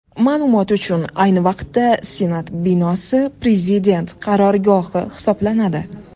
Ma’lumot uchun, ayni vaqtda Senat binosi Prezident qarorgohi hisoblanadi.